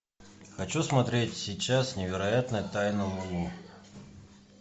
хочу смотреть сейчас невероятная тайна лулу